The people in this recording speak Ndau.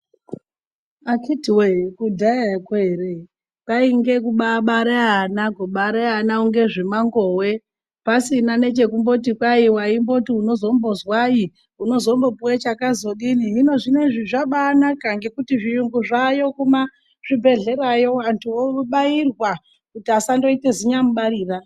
Akiti woye kudhayako ere kwainge kubabare ana, kubare ana kunge zvemangowe pasina nechekumboti kwai waimboti unozombozwai unozombopuwe chakazodini . Hino zvinezvi zvabanaka ngekuti zviyungu zvayo kumazvibhehlerayo antu obairwa kuti asandoite zinyamubarira.